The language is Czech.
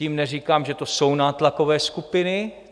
Tím neříkám, že to jsou nátlakové skupiny.